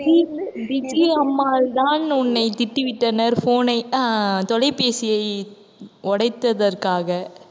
தான் உன்னை திட்டி விட்டனர் phone ஐ அஹ் தொலைபேசியை உடைத்ததற்காக,